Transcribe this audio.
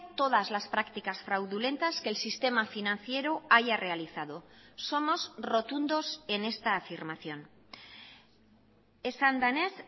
todas las prácticas fraudulentas que el sistema financiero haya realizado somos rotundos en esta afirmación esan denez